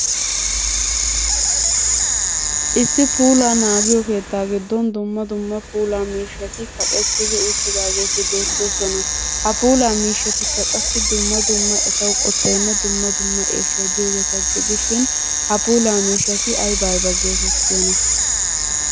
Issi puulaa naagiyo keetta giddon dumma dumma puula miishshati kaqqettidi uttidaageeti beettooosona. Ha puula miishshatikka qassi dumma dumma etaw qotaynne eeshshay diyoogeeta gidishin, ha puulaa miishshati aybba aybaa getettiyoona?